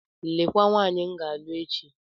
Lekwa nwaanyị m ga-alụ echi.